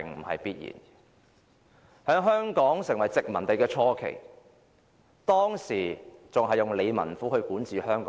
在香港成為殖民地的初期，港英政府透過理民府管治香港。